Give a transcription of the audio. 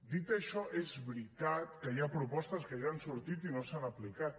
dit això és veritat que hi ha propostes que ja han sortit i no s’han aplicat